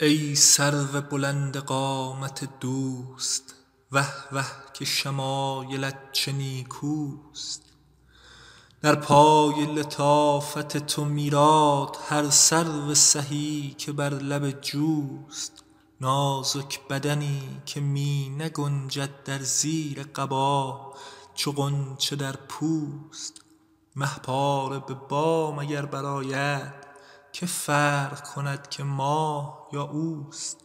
ای سرو بلند قامت دوست وه وه که شمایلت چه نیکوست در پای لطافت تو میراد هر سرو سهی که بر لب جوست نازک بدنی که می نگنجد در زیر قبا چو غنچه در پوست مه پاره به بام اگر برآید که فرق کند که ماه یا اوست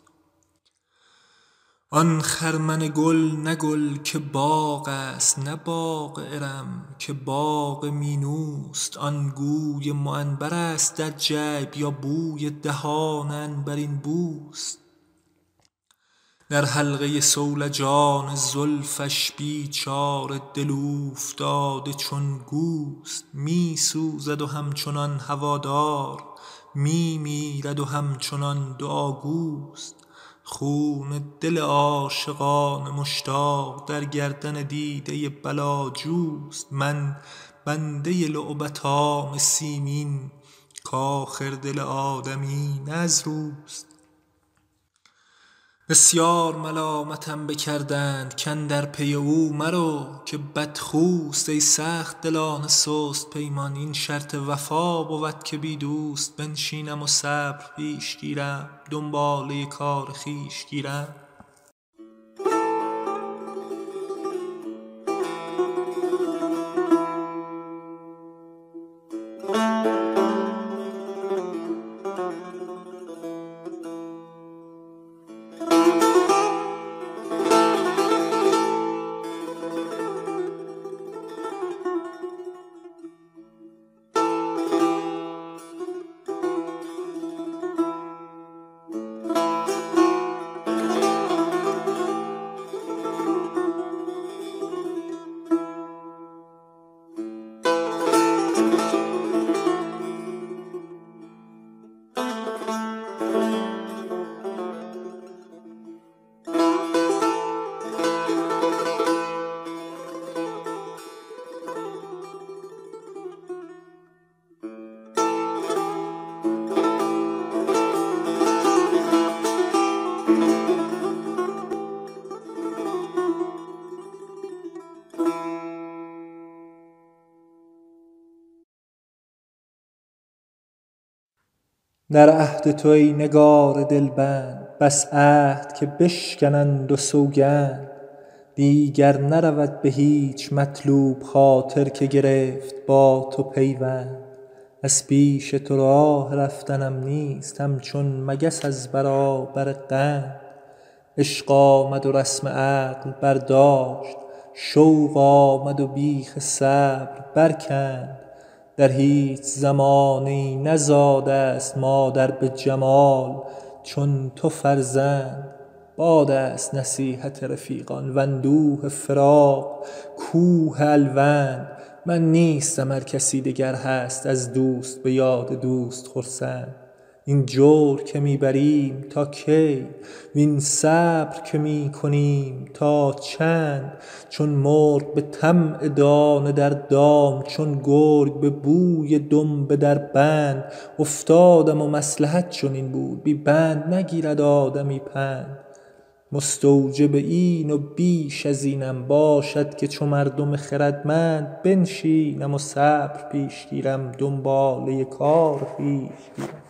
آن خرمن گل نه گل که باغ است نه باغ ارم که باغ مینوست آن گوی معنبرست در جیب یا بوی دهان عنبرین بوست در حلقه صولجان زلفش بیچاره دل اوفتاده چون گوست می سوزد و همچنان هوادار می میرد و همچنان دعاگوست خون دل عاشقان مشتاق در گردن دیده بلاجوست من بنده لعبتان سیمین کآخر دل آدمی نه از روست بسیار ملامتم بکردند کاندر پی او مرو که بدخوست ای سخت دلان سست پیمان این شرط وفا بود که بی دوست بنشینم و صبر پیش گیرم دنباله کار خویش گیرم در عهد تو ای نگار دلبند بس عهد که بشکنند و سوگند دیگر نرود به هیچ مطلوب خاطر که گرفت با تو پیوند از پیش تو راه رفتنم نیست همچون مگس از برابر قند عشق آمد و رسم عقل برداشت شوق آمد و بیخ صبر برکند در هیچ زمانه ای نزاده ست مادر به جمال چون تو فرزند باد است نصیحت رفیقان واندوه فراق کوه الوند من نیستم ار کسی دگر هست از دوست به یاد دوست خرسند این جور که می بریم تا کی وین صبر که می کنیم تا چند چون مرغ به طمع دانه در دام چون گرگ به بوی دنبه در بند افتادم و مصلحت چنین بود بی بند نگیرد آدمی پند مستوجب این و بیش از اینم باشد که چو مردم خردمند بنشینم و صبر پیش گیرم دنباله کار خویش گیرم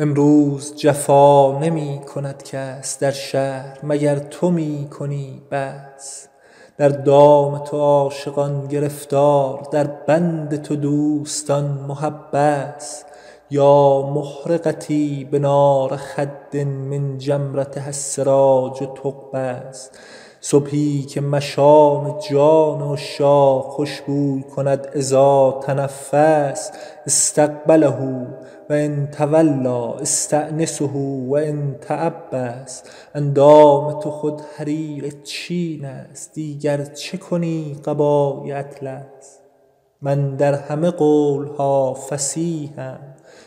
امروز جفا نمی کند کس در شهر مگر تو می کنی بس در دام تو عاشقان گرفتار در بند تو دوستان محبس یا محرقتي بنار خد من جمرتها السراج تقبس صبحی که مشام جان عشاق خوش بوی کند إذا تنفس أستقبله و إن تولیٰ أستأنسه و إن تعبس اندام تو خود حریر چین است دیگر چه کنی قبای اطلس من در همه قول ها فصیحم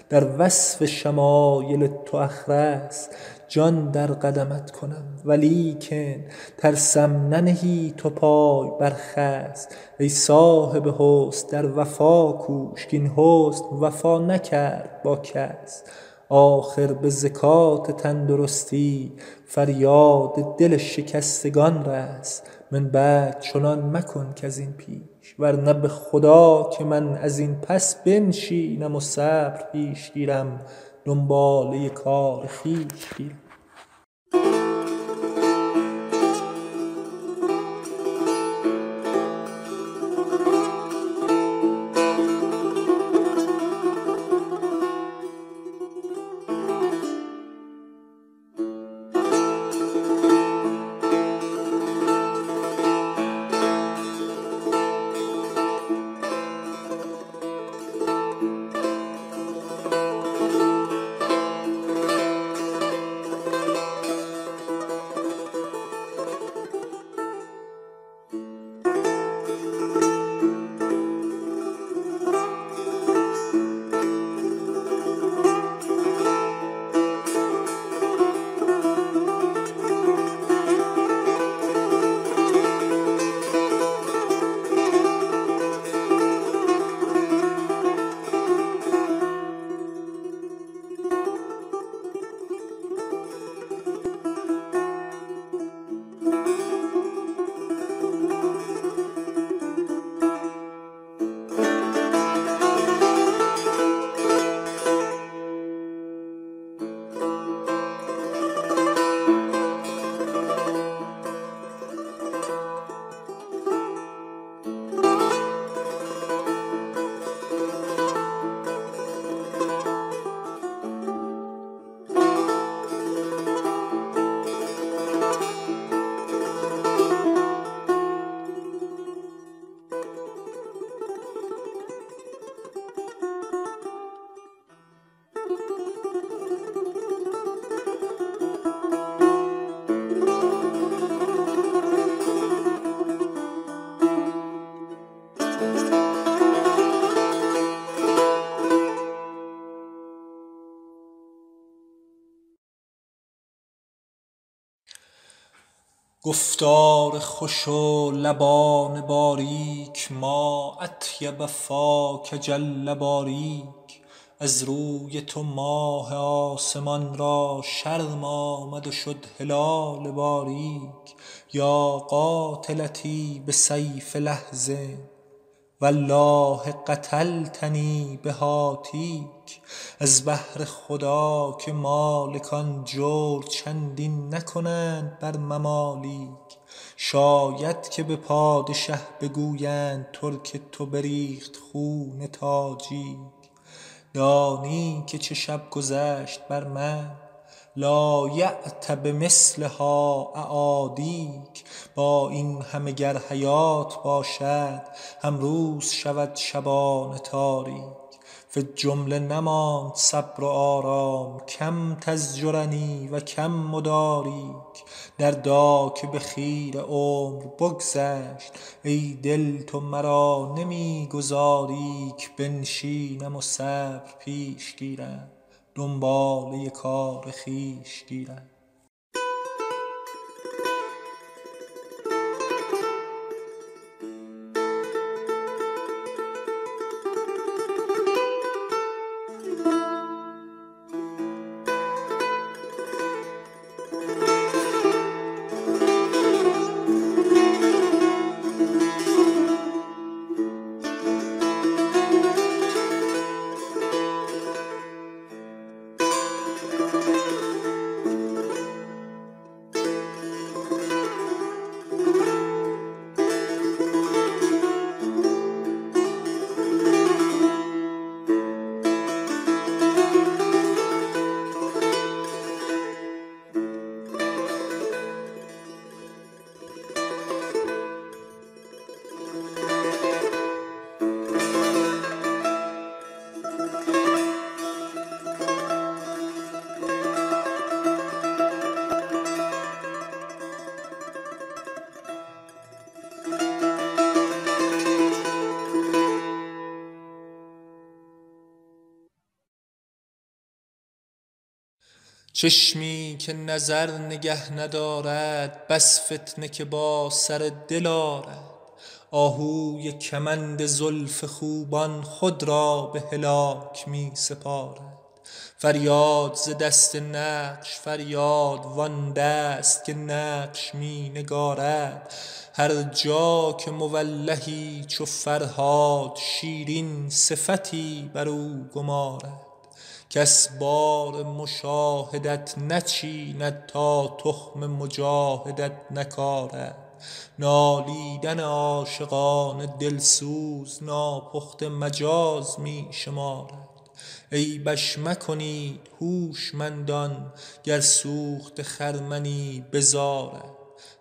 در وصف شمایل تو أخرس جان در قدمت کنم ولیکن ترسم ننهی تو پای بر خس ای صاحب حسن در وفا کوش کاین حسن وفا نکرد با کس آخر به زکات تندرستی فریاد دل شکستگان رس من بعد مکن چنان کز این پیش ورنه به خدا که من از این پس بنشینم و صبر پیش گیرم دنباله کار خویش گیرم گفتار خوش و لبان باریک ما أطیب فاک جل باریک از روی تو ماه آسمان را شرم آمد و شد هلال باریک یا قاتلتی بسیف لحظ والله قتلتنی بهاتیک از بهر خدا که مالکان جور چندین نکنند بر ممالیک شاید که به پادشه بگویند ترک تو بریخت خون تاجیک دانی که چه شب گذشت بر من لایأت بمثلها أعادیک با این همه گر حیات باشد هم روز شود شبان تاریک فی الجمله نماند صبر و آرام کم تزجرنی و کم أداریک دردا که به خیره عمر بگذشت ای دل تو مرا نمی گذاری ک بنشینم و صبر پیش گیرم دنباله کار خویش گیرم چشمی که نظر نگه ندارد بس فتنه که با سر دل آرد آهوی کمند زلف خوبان خود را به هلاک می سپارد فریاد ز دست نقش فریاد وآن دست که نقش می نگارد هر جا که مولهی چو فرهاد شیرین صفتی برو گمارد کس بار مشاهدت نچیند تا تخم مجاهدت نکارد نالیدن عاشقان دل سوز ناپخته مجاز می شمارد عیبش مکنید هوشمندان گر سوخته خرمنی بزارد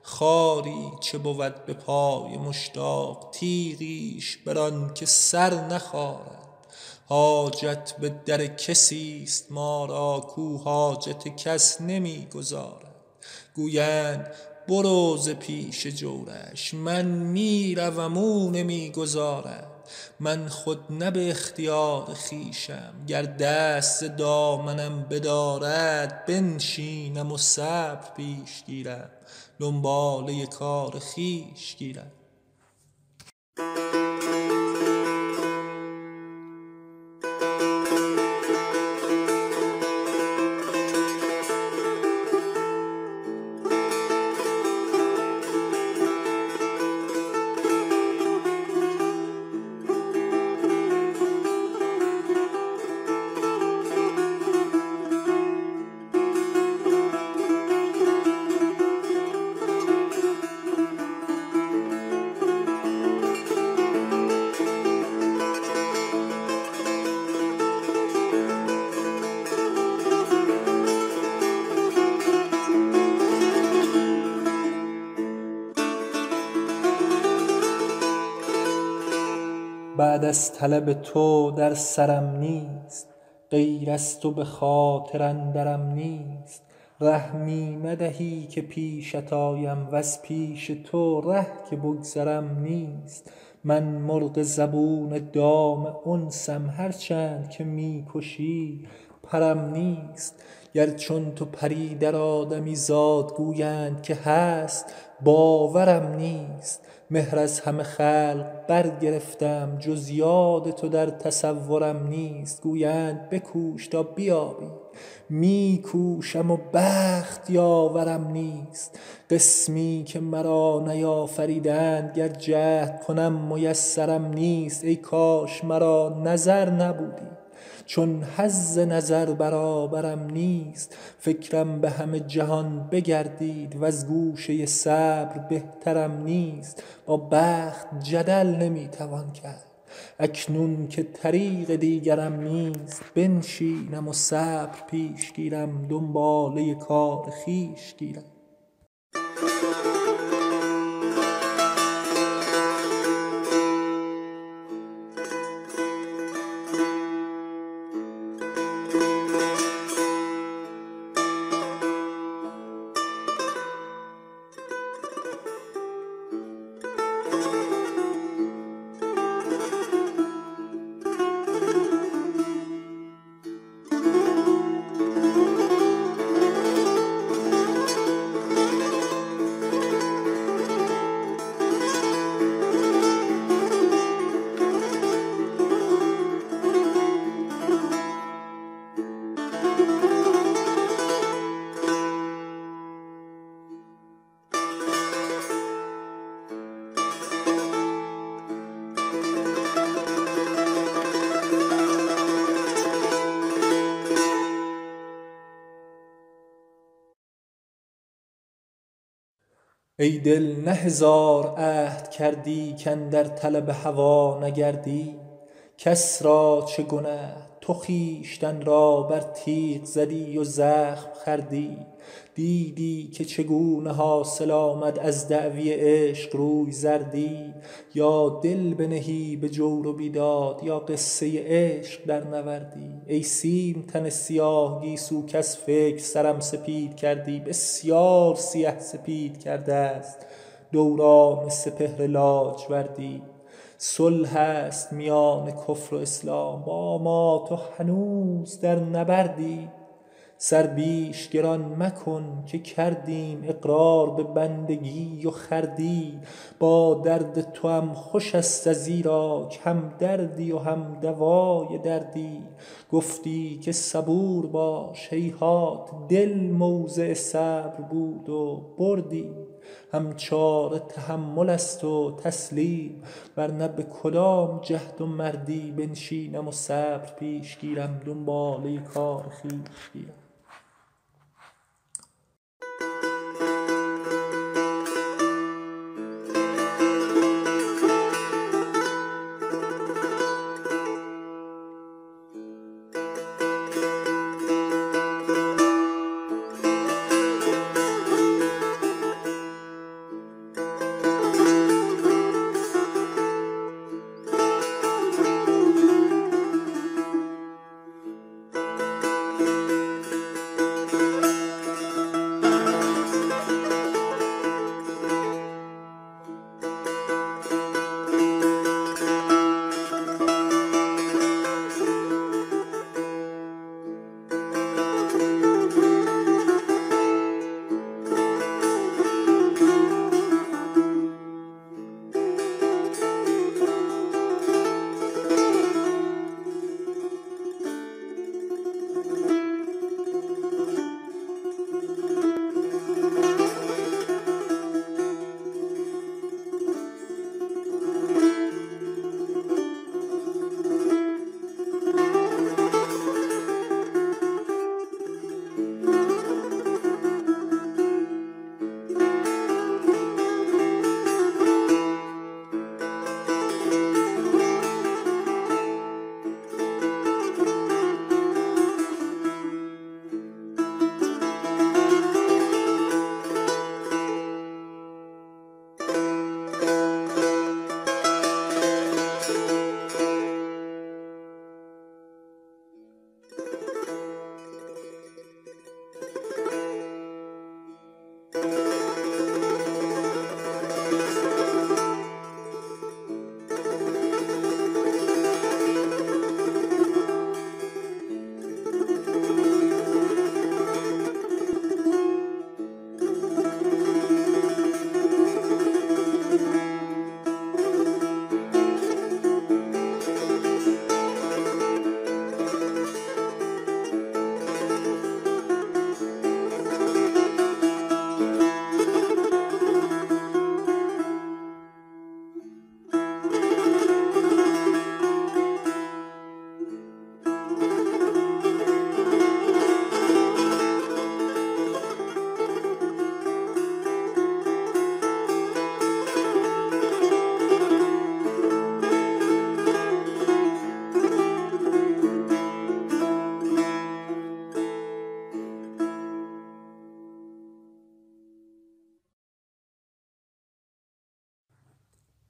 خاری چه بود به پای مشتاق تیغیش بران که سر نخارد حاجت به در کسی ست ما را کاو حاجت کس نمی گزارد گویند برو ز پیش جورش من می روم او نمی گذارد من خود نه به اختیار خویشم گر دست ز دامنم بدارد بنشینم و صبر پیش گیرم دنباله کار خویش گیرم بعد از طلب تو در سرم نیست غیر از تو به خاطر اندرم نیست ره می ندهی که پیشت آیم وز پیش تو ره که بگذرم نیست من مرغ زبون دام انسم هر چند که می کشی پرم نیست گر چون تو پری در آدمیزاد گویند که هست باورم نیست مهر از همه خلق برگرفتم جز یاد تو در تصورم نیست گویند بکوش تا بیابی می کوشم و بخت یاورم نیست قسمی که مرا نیافریدند گر جهد کنم میسرم نیست ای کاش مرا نظر نبودی چون حظ نظر برابرم نیست فکرم به همه جهان بگردید وز گوشه صبر بهترم نیست با بخت جدل نمی توان کرد اکنون که طریق دیگرم نیست بنشینم و صبر پیش گیرم دنباله کار خویش گیرم ای دل نه هزار عهد کردی کاندر طلب هوا نگردی کس را چه گنه تو خویشتن را بر تیغ زدی و زخم خوردی دیدی که چگونه حاصل آمد از دعوی عشق روی زردی یا دل بنهی به جور و بیداد یا قصه عشق درنوردی ای سیم تن سیاه گیسو کز فکر سرم سپید کردی بسیار سیه سپید کرده ست دوران سپهر لاجوردی صلح است میان کفر و اسلام با ما تو هنوز در نبردی سر بیش گران مکن که کردیم اقرار به بندگی و خردی با درد توام خوش ست ازیراک هم دردی و هم دوای دردی گفتی که صبور باش هیهات دل موضع صبر بود و بردی هم چاره تحمل است و تسلیم ورنه به کدام جهد و مردی بنشینم و صبر پیش گیرم دنباله کار خویش گیرم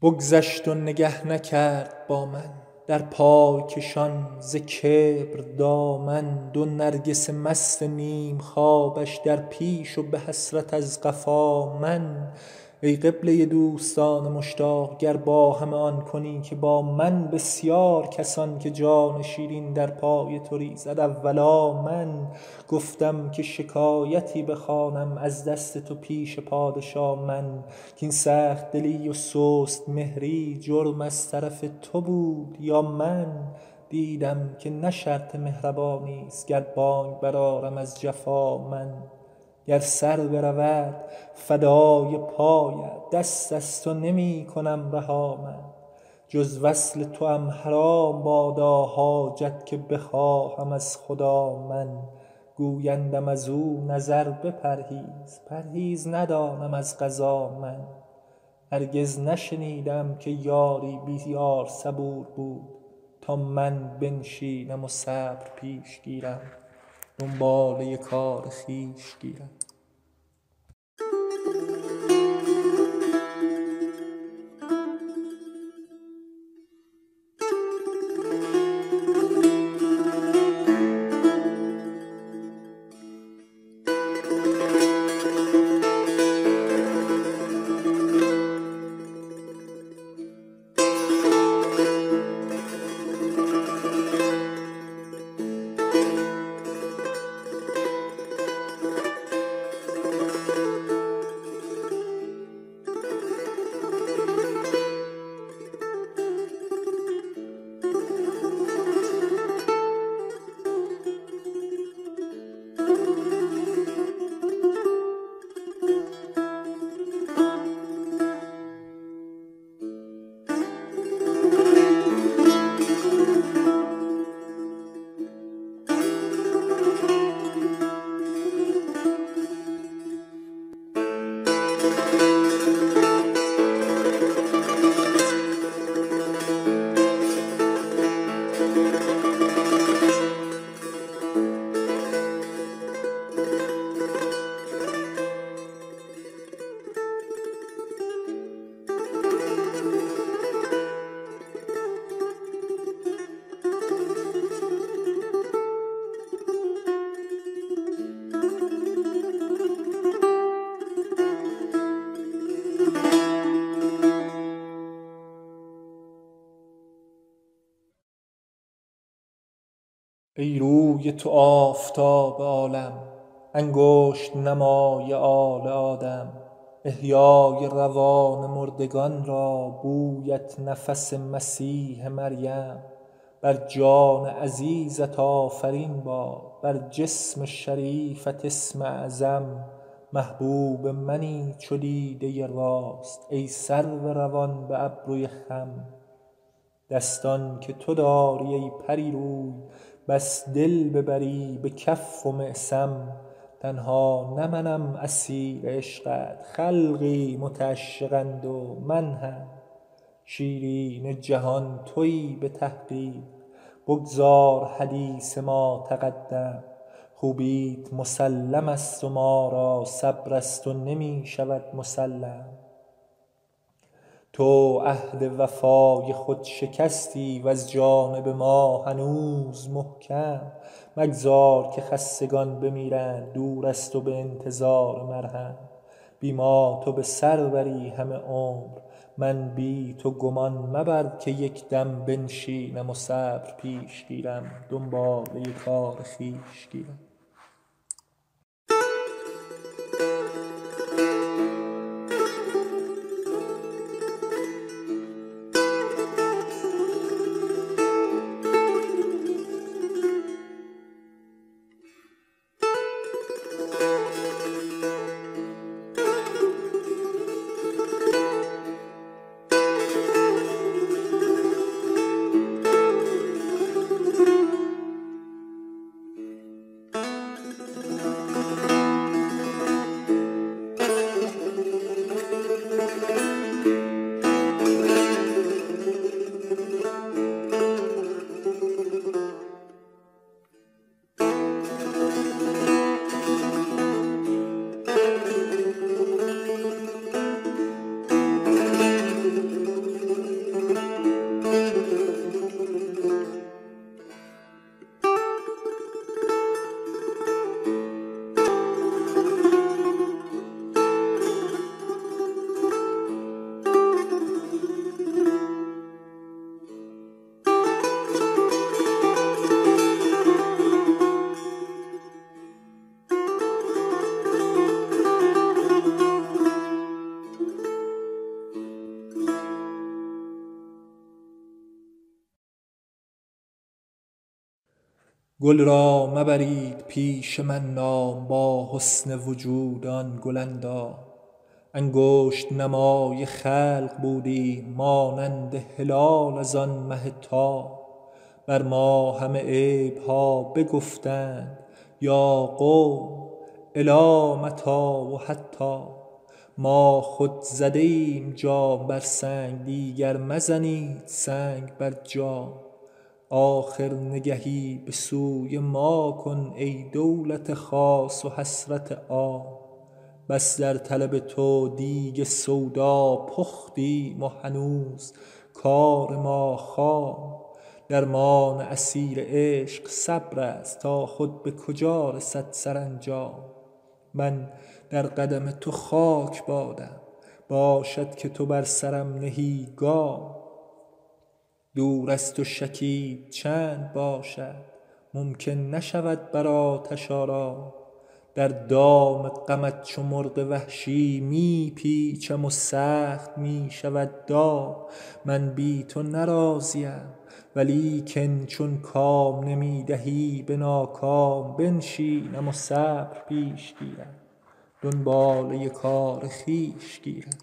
بگذشت و نگه نکرد با من در پای کشان ز کبر دامن دو نرگس مست نیم خوابش در پیش و به حسرت از قفا من ای قبله دوستان مشتاق گر با همه آن کنی که با من بسیار کسان که جان شیرین در پای تو ریزد اولا من گفتم که شکایتی بخوانم از دست تو پیش پادشا من کاین سخت دلی و سست مهری جرم از طرف تو بود یا من دیدم که نه شرط مهربانی ست گر بانگ برآرم از جفا من گر سر برود فدای پایت دست از تو نمی کنم رها من جز وصل توام حرام بادا حاجت که بخواهم از خدا من گویندم ازو نظر بپرهیز پرهیز ندانم از قضا من هرگز نشنیده ای که یاری بی یار صبور بود تا من بنشینم و صبر پیش گیرم دنباله کار خویش گیرم ای روی تو آفتاب عالم انگشت نمای آل آدم احیای روان مردگان را بویت نفس مسیح مریم بر جان عزیزت آفرین باد بر جسم شریفت اسم اعظم محبوب منی چو دیده راست ای سرو روان به ابروی خم دستان که تو داری ای پری روی بس دل ببری به کف و معصم تنها نه منم اسیر عشقت خلقی متعشقند و من هم شیرین جهان تویی به تحقیق بگذار حدیث ما تقدم خوبیت مسلم ست و ما را صبر از تو نمی شود مسلم تو عهد وفای خود شکستی وز جانب ما هنوز محکم مگذار که خستگان بمیرند دور از تو به انتظار مرهم بی ما تو به سر بری همه عمر من بی تو گمان مبر که یک دم بنشینم و صبر پیش گیرم دنباله کار خویش گیرم گل را مبرید پیش من نام با حسن وجود آن گل اندام انگشت نمای خلق بودیم مانند هلال از آن مه تام بر ما همه عیب ها بگفتند یا قوم إلی متیٰ و حتام ما خود زده ایم جام بر سنگ دیگر مزنید سنگ بر جام آخر نگهی به سوی ما کن ای دولت خاص و حسرت عام بس در طلب تو دیگ سودا پختیم و هنوز کار ما خام درمان اسیر عشق صبرست تا خود به کجا رسد سرانجام من در قدم تو خاک بادم باشد که تو بر سرم نهی گام دور از تو شکیب چند باشد ممکن نشود بر آتش آرام در دام غمت چو مرغ وحشی می پیچم و سخت می شود دام من بی تو نه راضیم ولیکن چون کام نمی دهی به ناکام بنشینم و صبر پیش گیرم دنباله کار خویش گیرم